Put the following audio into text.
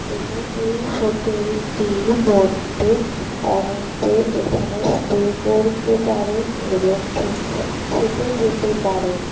এবং এই হোটেল টির মধ্যে অনেকে এখানে স্টে করতে পারেন এবং খেতে যেতে পারেন।